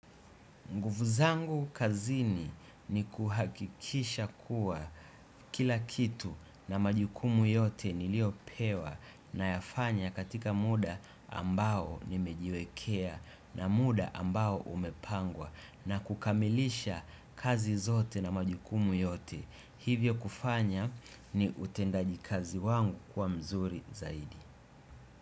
Nguvu zangu kazini ni kuhakikisha kuwa kila kitu na majukumu yote niliyopewa nayafanya katika muda ambao nimejiwekea na muda ambao umepangwa na kukamilisha kazi zote na majukumu yote. Hivyo kufanya ni utendaji kazi wangu kuwa mzuri zaidi.